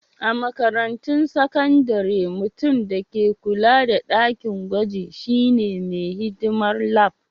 A makarantun sakandare, mutum da ke kulawa da dakin gwajin shine mai hidimar Lab.